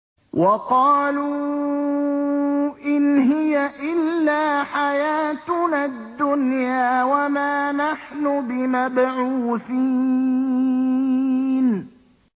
وَقَالُوا إِنْ هِيَ إِلَّا حَيَاتُنَا الدُّنْيَا وَمَا نَحْنُ بِمَبْعُوثِينَ